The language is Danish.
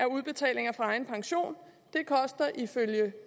udbetalinger fra egen pension det koster ifølge